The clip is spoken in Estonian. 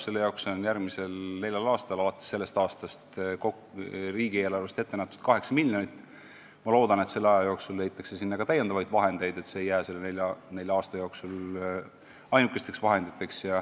Selle jaoks on järgmisel neljal aastal alates sellest aastast riigieelarves ette nähtud 8 miljonit eurot, aga ma loodan, et aja jooksul leitakse sinna ka täiendavaid vahendeid, nii et see ei jää selle nelja aasta jooksul ainukeseks rahaeralduseks.